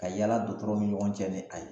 Ka yala dɔgɔtɔrɔw ni ɲɔgɔn cɛ ni a ye